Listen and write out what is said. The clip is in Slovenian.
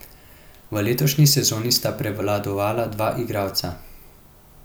V letošnji sezoni sta prevladovala dva igralca.